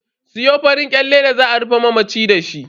Siyo farin kyalle da za a rufe mamaci dashi.